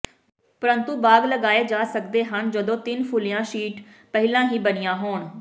ਪਰੰਤੂ ਬਾਗ਼ ਲਗਾਏ ਜਾ ਸਕਦੇ ਹਨ ਜਦੋਂ ਤਿੰਨ ਫੁੱਲੀਆਂ ਸ਼ੀਟ ਪਹਿਲਾਂ ਹੀ ਬਣੀਆਂ ਹੋਣ